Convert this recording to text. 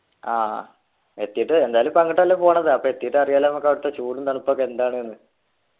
ആഹ് എത്തീട്ട് എന്തായാലും ഇപ്പൊ അങ്ങട്ടല്ലേ പോണത് അപ്പൊ എത്തീട്ട് അറിയാലോ നമ്മക്കവിടെത്തെ ചൂടും തണുപ്പൊക്കെ എന്താണ്ന്ന്